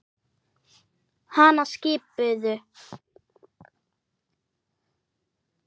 Hana skipuðu